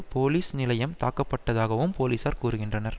police நிலையம் தாக்கப்பட்டதாகவும் போலீசார் கூறுகின்றனர்